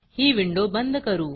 ही window बंद करू